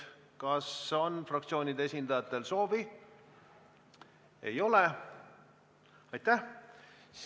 Kas fraktsioonide esindajatel on selleks soovi?